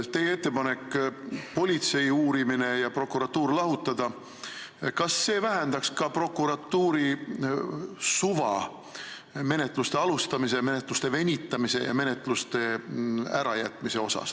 Kas teie ettepanek politseiuurimine ja prokuratuur lahutada vähendaks ka prokuratuuri suva menetluste alustamisel, venitamisel ja ärajätmisel?